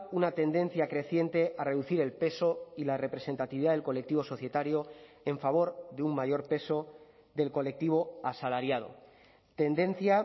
una tendencia creciente a reducir el peso y la representatividad del colectivo societario en favor de un mayor peso del colectivo asalariado tendencia